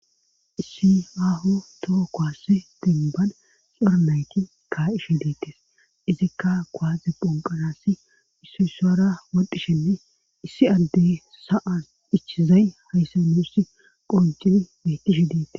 Issi aho toho kowasse denban xornayti ka ishe diittes izikka koaaze ponqanasi issu sara woddishenne issi addey sa7an ichizay hayssanusi qoncili betishe diites.